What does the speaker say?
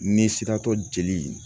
Ni siratɔ jeli